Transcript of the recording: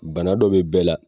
Bana dɔ bɛ bɛɛ la